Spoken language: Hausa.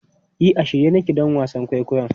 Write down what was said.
E, a shirye nake don wasan kwaikwayon.